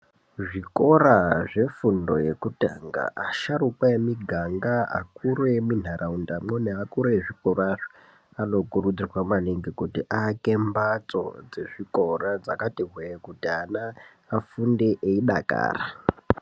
Zvikora zvefundo yekutanga asharuka emuganga akuru emunharaundamwo neakuru ezvikorazvo anokurudzirwa maningi kuti aake mhatso dzezvikora dzakati hwee kuti ana afunde eidakara.